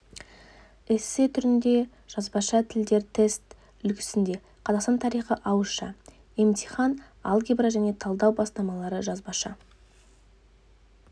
эссе түрінде жазбаша тілдер тест үлгісінде қазақстан тарихы ауызша емтихан алгебра және талдау бастамалары жазбаша